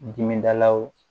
Dimidalaw